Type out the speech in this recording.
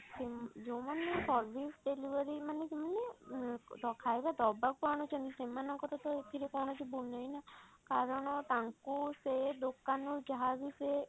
ସେ ଯଉମାନେ service delivery ମାନେ ସେମାନେ ଖାଇବା ଦବାକୁ ଆଣୁଛନ୍ତି ସେମାନଙ୍କର ତ ଏଥିରେ କୌଣସି ଭୁଲ ନାହିଁ ନା କାରଣ ତାଙ୍କୁ ସେ ଦୋକାନ ରୁ ଯାହା ବି ସେ